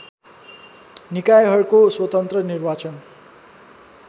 निकायहरूको स्वतन्त्र निर्वाचन